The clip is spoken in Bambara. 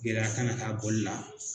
Gɛlɛya kana k'a bɔli la